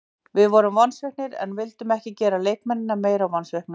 Við vorum vonsviknir en við vildum ekki gera leikmennina meira vonsvikna.